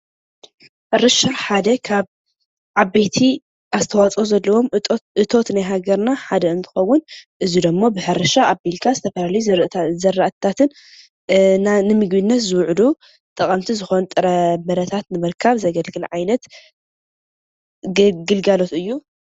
ሕርሻ ሓደ ካብ ዓበይት ኣስተወፀአ ዘለዎም እቶት ናይ ሃገርና ሓደ እንትከውን እዚ ድማ ብሕርሻ ኣብልካ ዝተፈላላዩ ዘርኢታትን ንምግብነት ዝውዕሉ ጥቅምቲ ዝኮኑ ጥረ ብረታት ንምርሀካብ ዘግልግል ዓይነት ግልጋሎት እዩ።